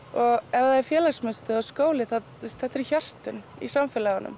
ef það er félagsmiðstöð eða skóli þetta eru hjörtun í samfélaginu